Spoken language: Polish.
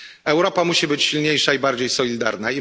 Europa musi być silniejsza i bardziej solidarna.